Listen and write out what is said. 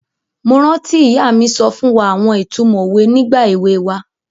Mo rántí ìyá mi so fún wa àwon itumo owe nígbà ewe wa